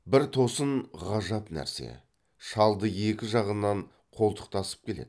бір тосын ғажап нәрсе шалды екі жағынан қолтықтасып келеді